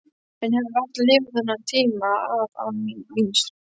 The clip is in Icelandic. Ég hefði varla lifað þennan tíma af án víns.